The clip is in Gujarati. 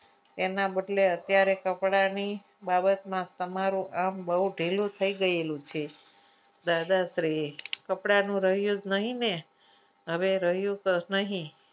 એના બદલી અત્યારે કપડાની બાબતમાં તમારું આમ બહુ ઢીલું થઈ ગયેલું છે દાદાશ્રી કપડાનું રહ્યું જ નહીં ને હવે રહ્યું નહીં.